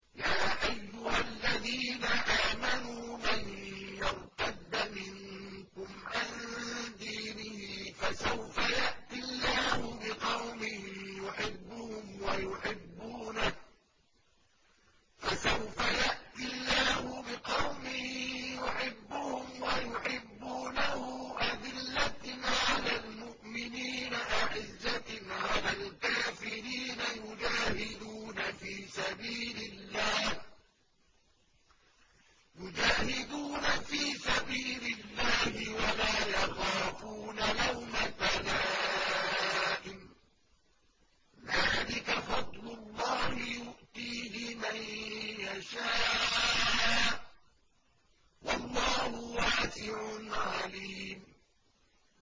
يَا أَيُّهَا الَّذِينَ آمَنُوا مَن يَرْتَدَّ مِنكُمْ عَن دِينِهِ فَسَوْفَ يَأْتِي اللَّهُ بِقَوْمٍ يُحِبُّهُمْ وَيُحِبُّونَهُ أَذِلَّةٍ عَلَى الْمُؤْمِنِينَ أَعِزَّةٍ عَلَى الْكَافِرِينَ يُجَاهِدُونَ فِي سَبِيلِ اللَّهِ وَلَا يَخَافُونَ لَوْمَةَ لَائِمٍ ۚ ذَٰلِكَ فَضْلُ اللَّهِ يُؤْتِيهِ مَن يَشَاءُ ۚ وَاللَّهُ وَاسِعٌ عَلِيمٌ